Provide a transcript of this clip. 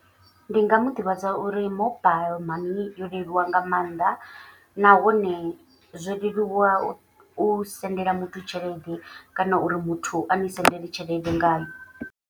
Ndi nga mu ḓivhadza uri mobile mani yo leluwa nga maanḓa. Nahone zwo leluwa u sendela muthu tshelede kana uri muthu a ni sendele tshelede ngayo.